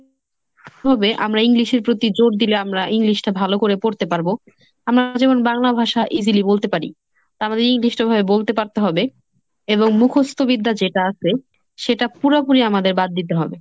হবে আমরা english এর প্রতি জোর দিলে আমরা english টা ভালোভাবে পড়তে পারব। আমরা যেমন বাংলা ভাষা easily বলতে পারি। আমাদের english টা সেভাবে বলতে পারতে হবে এবং মুখস্ত বিদ্যা যেটা আসে, সেটা পুরাপুরি আমাদের বাদ দিতে হবে।